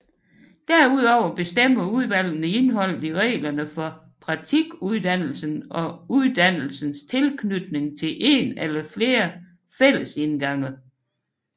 Derudover bestemmer udvalgene indholdet i reglerne for praktikuddannelsen og uddannelsens tilknytning til en eller flere fællesindgange